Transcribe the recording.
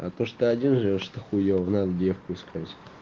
а то что ты один живёшь это хуйово надо девку искать